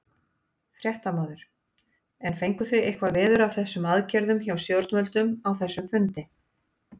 Fréttamaður: En fenguð þið eitthvað veður af einhverjum aðgerðum hjá stjórnvöldum á þessum fundi?